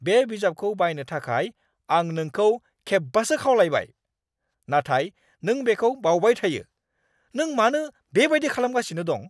बे बिजाबखौ बायनो थाखाय आं नोंखौ खेबबासो खावलायबाय, नाथाय नों बेखौ बावबाय थायो। नों मानो बेबायदि खालामगासिनो दं?